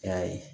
I y'a ye